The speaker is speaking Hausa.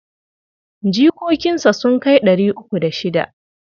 Jikokinsa sun kai ɗari uku da shida.